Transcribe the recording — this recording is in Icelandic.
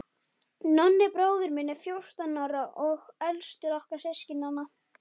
Nonni bróðir minn er fjórtán ára og elstur okkar systkinanna.